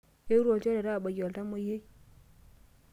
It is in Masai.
Eetuo ilchoreta aabaiki oltamwoyiai.